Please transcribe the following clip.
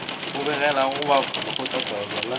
o begelago ba lekgotlataolo la